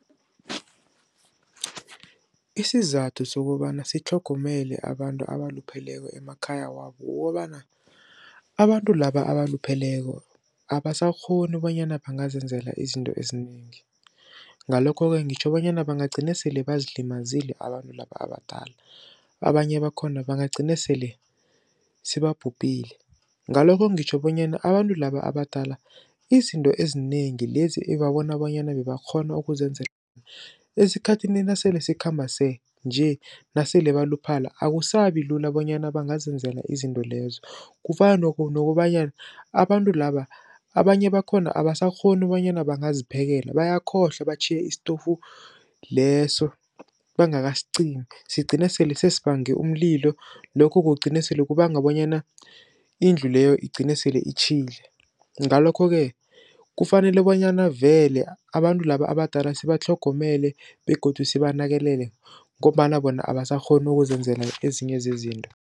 Isizathu sokobana sitlhogomele abantu abalupheleko emakhaya wabo kukobana, abantu laba abalupheleko abasakghoni bonyana bangazenzela izinto ezinengi. Ngalokho-ke ngitjho bonyana bangagcina sele bazilimazile abantu laba abadala. Abanye bakhona bangagcina sele sebabhubhile. Ngalokho ngitjho bonyana abantu laba abadala, izinto ezinengi lezi ebabona bonyana bebakghona ukuzenzela esikhathini nasele sikhamba nje nasele baluphela, akusabilula bonyana bangazenzela izinto lezo. Kufana nokobanyana abantu laba abanye bakhona abasakghoni bonyana bangaziphekela, bayakhohlwa batjhiye istofu leso bangakasicimi. Sigcina sele sesiya nange umlilo, lokho kugcine sele kubanga bonyana indlu leyo igcine sele itjhile. Ngalokho-ke kufanele bonyana vele abantu laba abadala sibatlhogomele begodu sibanakekele ngombana bona abasakghoni ukuzenzela ezinye zezinto.